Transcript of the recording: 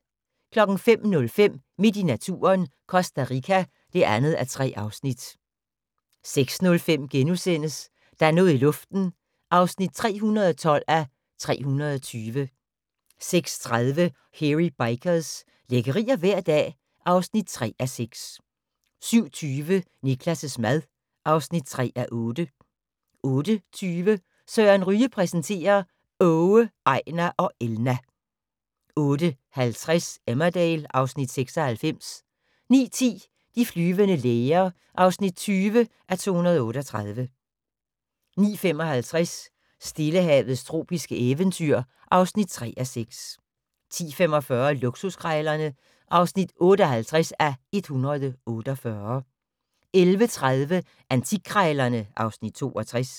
05:05: Midt i naturen – Costa Rica (2:3) 06:05: Der er noget i luften (312:320)* 06:30: Hairy Bikers – lækkerier hver dag (3:6) 07:20: Niklas' mad (3:8) 08:20: Søren Ryge præsenterer: Åge, Ejnar og Elna 08:50: Emmerdale (Afs. 96) 09:10: De flyvende læger (20:238) 09:55: Stillehavets tropiske eventyr (3:6) 10:45: Luksuskrejlerne (58:148) 11:30: Antikkrejlerne (Afs. 62)